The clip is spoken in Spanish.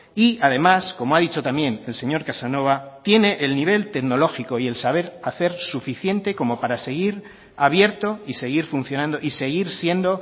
y además como ha dicho también el señor casanova tiene el nivel tecnológico y el saber hacer suficiente como para seguir abierto y seguir funcionando y seguir siendo